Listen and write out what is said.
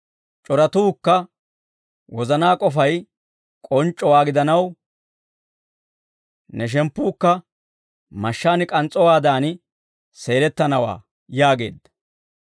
C'oratookka wozanaa k'ofay k'onc'c'owaa gidanaw, ne shemppuukka mashshaan k'ans's'owaadan seelettanawaa» yaageedda.